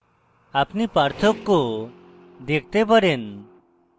আপনি পার্থক্য দেখতে পারেন